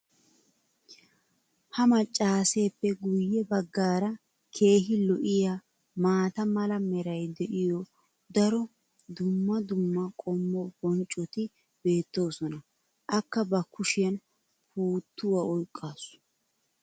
ha macaaseeppe guye bagaara keehi lo'iya maata mala meray de'iyo daro dumma dumma qommo bonccoti beetoosona. akka ba kushiyan puutuwa oyqaasu.